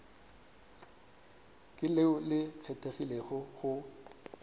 ke leo le kgethegilego go